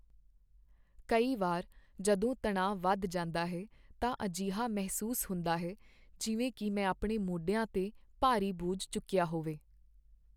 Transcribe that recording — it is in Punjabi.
ਕਈ ਵਾਰ, ਜਦੋਂ ਤਣਾਅ ਵਧ ਜਾਂਦਾ ਹੈ, ਤਾਂ ਅਜਿਹਾ ਮਹਿਸੂਸ ਹੁੰਦਾ ਹੈ ਜਿਵੇਂ ਕਿ ਮੈਂ ਆਪਣੇ ਮੋਢਿਆਂ 'ਤੇ ਭਾਰੀ ਬੋਝ ਚੁੱਕਿਆ ਹੋਵੇ।